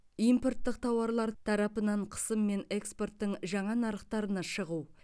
импорттық тауарлар тарапынан қысым мен экспорттың жаңа нарықтарына шығу